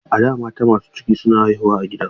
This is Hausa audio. A da, mata masu ciki suna haihuwa a gida.